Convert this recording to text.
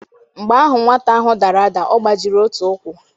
Mgbe ahụ nwata ahụ dara ada, ọ gbajiri otu ukwu.